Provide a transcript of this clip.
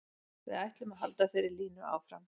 Við ætlum að halda þeirri línu áfram.